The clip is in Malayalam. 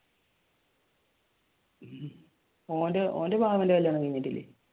ഓന്റെ വാവയുടെ കല്യാണം കഴിഞ്ഞിട്ടല്ലേ?